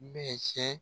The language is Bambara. Bɛɛ cɛ